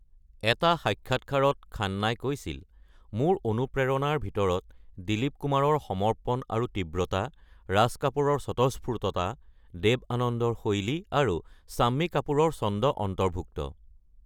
এটা সাক্ষাৎকাৰত খান্নাই কৈছিল: “মোৰ অনুপ্ৰেৰণাৰ ভিতৰত দিলীপ কুমাৰৰ সমৰ্পণ আৰু তীব্ৰতা, ৰাজ কাপুৰৰ স্বতঃস্ফূৰ্ততা, দেৱ আনন্দৰ শৈলী আৰু শম্মী কাপুৰৰ ছন্দ অন্তৰ্ভুক্ত।"